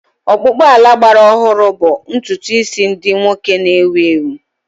Ọkpụkpụ ala gbara ọhụrụ bụ ntutu isi ndị nwoke na-ewu ewu.